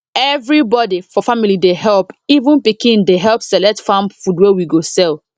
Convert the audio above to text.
everybody for family dey help even pikin dey help select farm food wey we go sell